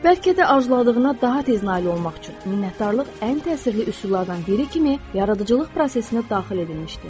Bəlkə də arzuladığına daha tez nail olmaq üçün minnətdarlıq ən təsirli üsullardan biri kimi yaradıcılıq prosesinə daxil edilmişdi.